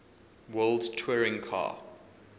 world touring car